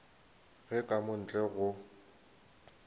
ge ka mo ntle go